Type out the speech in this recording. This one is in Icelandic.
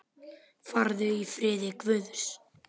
Farðu í friði Guðs.